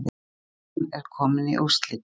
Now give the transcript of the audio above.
Stjarnan er komin í úrslitin